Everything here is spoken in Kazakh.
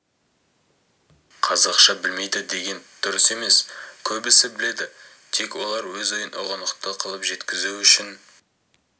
қазақша білмейді деген дұрыс емес көбісі біледі тек олар өз ойын ұғынықты қылып жеткізу үшін